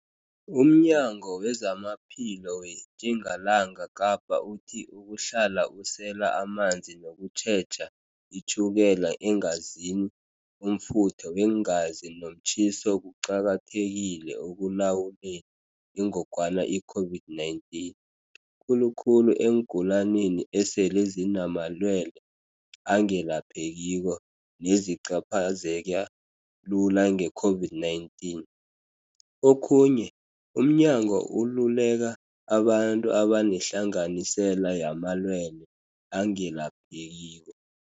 UmNyango wezamaPhilo weTjingalanga Kapa uthi ukuhlala usela amanzi nokutjheja itjhukela eengazini, umfutho weengazi nomtjhiso kuqakathekile ekulawuleni ingogwana i-COVID-19, khulukhulu eengulanini esele zinamalwele angelaphekiko nezicaphazeka lula nge-COVID-19. Okhunye, umnyango ululeka abantu abanehlanganisela yamalwele angelaphekiko,